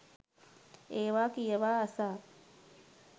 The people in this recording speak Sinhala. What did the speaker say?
ඒවා කියවා අසා